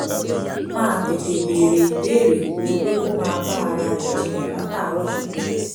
máa tètè béèrè ìbéèrè ju pé kó máa bá ara rẹ̀ jiyàn látàárọ̀ ṣúlẹ̀